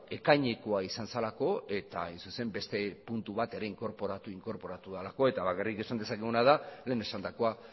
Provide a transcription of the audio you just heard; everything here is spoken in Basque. ekainekoa izan zelako eta hain zuzen ere beste puntu bat ere inkorporatu delako eta bakarrik esan dezakeguna da lehen esandakoa